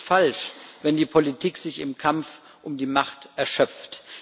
Es ist falsch, wenn die Politik sich im Kampf um die Macht erschöpft.